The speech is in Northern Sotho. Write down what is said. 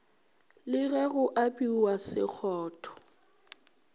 le ge go apewa sekgotho